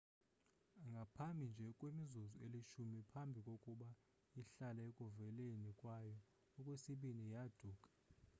ngaphambi nje kwemizuzu elishumi phambi kokuba ihlale ekuveleni kwayo okwesibini yaaduka